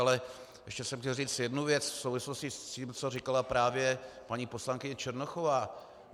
Ale ještě jsem chtěl říct jednu věc v souvislosti s tím, co říkala právě paní poslankyně Černochová.